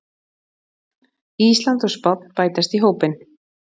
Ísland og Spánn bætast í hópinn